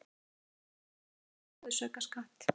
Þetta á til dæmis við um virðisaukaskatt.